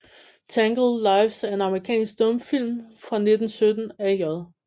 Tangled Lives er en amerikansk stumfilm fra 1917 af J